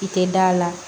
I tɛ da la